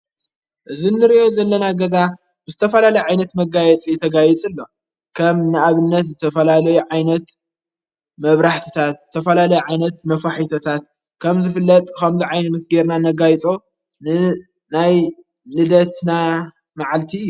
እዝ ንርዮ ዘለና ገዛ ብስተፈላለይ ዓይነት መጋየጺ ተጋይጽሎ ከም ንኣብነት ተፈላለይ ዓይነት መብራህትታት ተፈላለይ ዓይነት መፍሒተታት ከም ዝፍለጥ ኸም ቲ ዓይኒ ምኽጌርና ነጋይጾ ን ናይ ልደትና መዓልቲ እዩ።